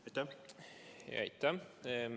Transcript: Aitäh!